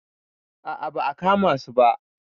A a ba a kama su ba.